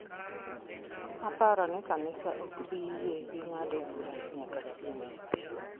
Aparo ni kanisa ok bi yie gi ng’ado burano nyaka chieng’.